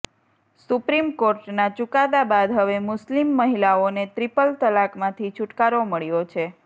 supreme કોર્ટના ચુકાદા બાદ હવે મુસ્લિમ મહિલાઓને ત્રિપલ તલાકમાંથી છૂટકારો મળ્યો છે